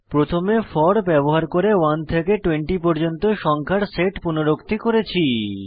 প্রথমে ফোর ব্যবহার করে 1 থেকে 20 পর্যন্ত সংখ্যার সেট পুনরুক্তি করেছি